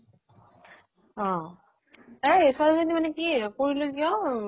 অ । এই এফালেদি মানে কি কৰিলো কিয়